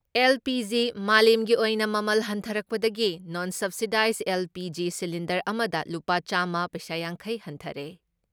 LPG. ꯃꯥꯂꯦꯝꯒꯤ ꯑꯣꯏꯅ ꯃꯃꯜ ꯍꯟꯊꯔꯛꯄꯗꯒꯤ ꯅꯣꯟ ꯁꯕꯁꯤꯗꯥꯏꯖ ꯑꯦꯜ.ꯄꯤ.ꯖꯤ. ꯁꯤꯂꯤꯟꯗꯔ ꯑꯃꯗ ꯂꯨꯄꯥ ꯆꯥꯝꯃ ꯄꯩꯁꯥ ꯌꯥꯡꯈꯩ ꯍꯟꯊꯔꯦ ꯫